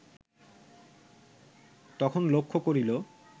তখন লক্ষ্য করিল